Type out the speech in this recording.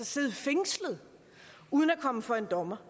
sidde fængslet uden at komme for en dommer